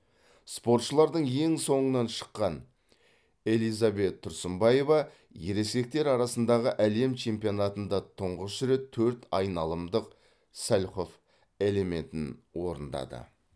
спортшылардың ең соңынан шыққан элизабет тұрсынбаева ересектер арасындағы әлем чемпионатында тұңғыш рет төрт айналымдық сальхов элементін орындады